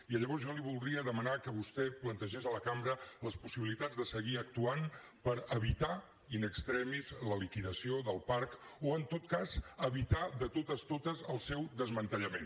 i llavors jo li voldria demanar que vostè plantegés a la cambra les possibilitats de seguir actuant per evitar in extremis la liquidació del parc o en tot cas evitar de totes el seu desmantellament